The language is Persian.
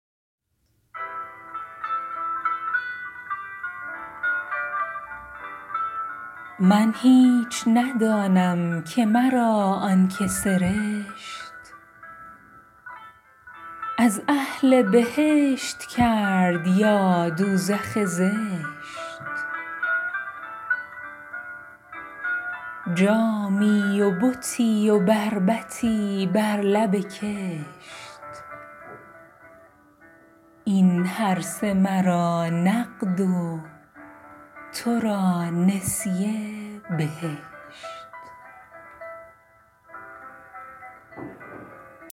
من هیچ ندانم که مرا آن که سرشت از اهل بهشت کرد یا دوزخ زشت جامی و بتی و بربطی بر لب کشت این هرسه مرا نقد و تو را نسیه بهشت